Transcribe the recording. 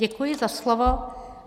Děkuji za slovo.